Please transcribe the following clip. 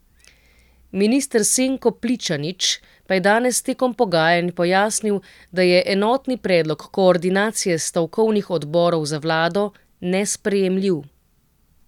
Minister Senko Pličanič pa je danes tekom pogajanj pojasnil, da je enotni predlog koordinacije stavkovnih odborov za vlado nesprejemljiv.